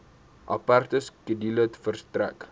aparte skedule verstrek